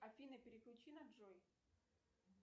афина переключи на джой